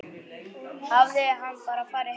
Hafði hann bara farið heim?